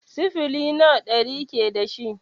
Sifili nawa ɗari ke dashi?